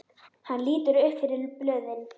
Hún lítur upp fyrir blöðin.